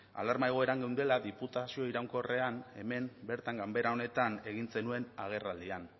alarma egoeran geundela diputazio iraunkorrean hemen bertan ganbera honetan egin zenuen agerraldian